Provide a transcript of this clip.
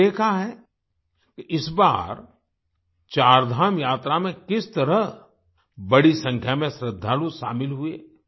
आपने देखा है कि इस बार चारधाम यात्रा में किस तरह बड़ी संख्या में श्रद्धालु शामिल हुए